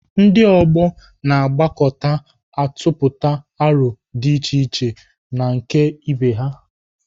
Ndị ọgbọ na-agbakọta atụpụta arọ dị iche na nke ibe ha.